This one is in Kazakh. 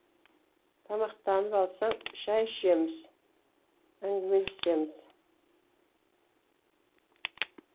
тамақтанып алсаң шай ішеміз әңгімелесеміз